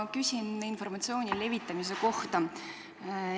Ma küsin informatsiooni levitamise kohta.